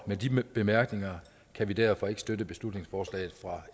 med de bemærkninger kan vi derfor ikke støtte beslutningsforslaget fra